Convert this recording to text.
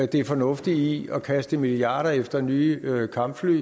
det fornuftige i at kaste milliarder efter nye kampfly